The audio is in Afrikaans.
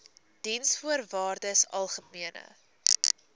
diensvoorwaardesalgemene